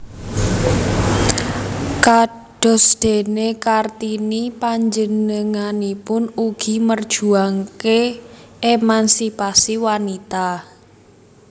Kadosdéné Kartini panjenenganipun ugi merjuangaken émansipasi wanita